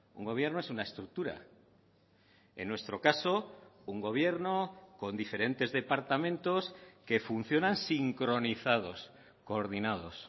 un gobierno es una estructura en nuestro caso un gobierno con diferentes departamentos que funcionan sincronizados coordinados